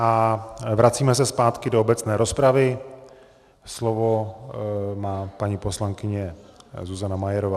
A vracíme se zpátky do obecné rozpravy, slovo má paní poslankyně Zuzana Majerová.